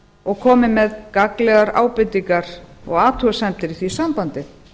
og komi með gagnlegar ábendingar og athugasemdir í því sambandi